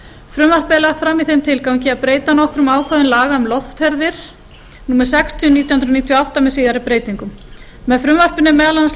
er lagt fram í þeim tilgangi að breyta nokkrum ákvæðum laga um loftferðir númer sextíu nítján hundruð níutíu og átta með síðari breytingum með frumvarpinu er meðal annars